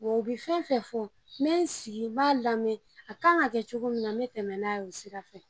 u bi fɛn fɛn fɔ n bɛ n sigi n b'a lamɛn a kan ka kɛ cogo min na n bɛ tɛmɛ n'a ye' o sira fɛ.